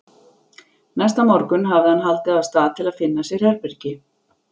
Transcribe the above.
Næsta morgun hafði hann haldið af stað til að finna sér herbergi.